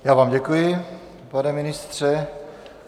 Já vám děkuji, pane ministře.